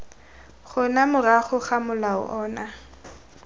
gona morago ga molao ono